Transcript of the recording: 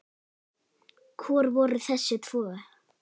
Hver voru þessi tvö?